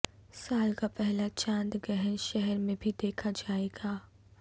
سال کا پہلا چاند گہن شہر میں بھی دیکھا جائے گا